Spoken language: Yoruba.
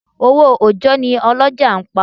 Owó òjọ́ ni àwọn ọlọ́jà ń pa.